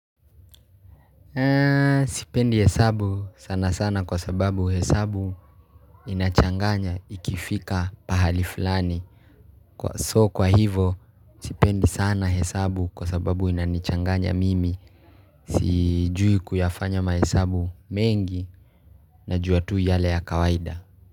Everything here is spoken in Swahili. Sipendi hesabu sana sana kwa sababu hesabu inachanganya ikifika pahali fulani So kwa hivo sipendi sana hesabu kwa sababu inanichanganya mimi Sijui kuyafanya mahesabu mengi na juatu yale ya kawaida.